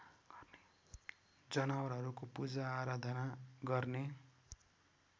जनावरहरूको पूजाआराधना गर्ने